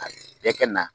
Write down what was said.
A bɛɛ kɛ na